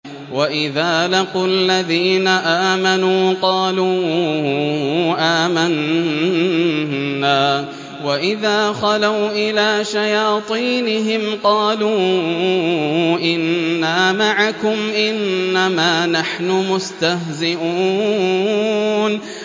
وَإِذَا لَقُوا الَّذِينَ آمَنُوا قَالُوا آمَنَّا وَإِذَا خَلَوْا إِلَىٰ شَيَاطِينِهِمْ قَالُوا إِنَّا مَعَكُمْ إِنَّمَا نَحْنُ مُسْتَهْزِئُونَ